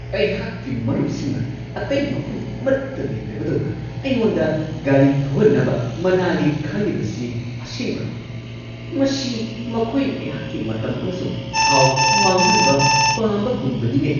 ꯑꯩꯍꯥꯛꯀꯤ ꯃꯔꯨꯞꯁꯤꯡꯅ ꯑꯇꯩ ꯃꯐꯝ ꯑꯃꯠꯇ ꯂꯩꯇꯕꯗꯧꯅ ꯑꯩꯉꯣꯟꯗ ꯒꯥꯔꯤ ꯊꯧꯍꯟꯅꯕ ꯃꯅꯥꯂꯤ ꯈꯜꯂꯤꯕꯁꯤ ꯑꯁꯦꯡꯕꯔꯣ ? ꯃꯁꯤ ꯃꯈꯣꯏꯅ ꯑꯩꯍꯥꯛꯀꯤ ꯃꯇꯝ ꯑꯃꯁꯨꯡ ꯊꯥꯎ ꯃꯥꯡꯍꯟꯕ ꯄꯥꯝꯕꯒꯨꯝꯕꯅꯤꯅꯦ!